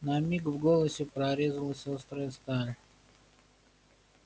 на миг в голосе прорезалась острая сталь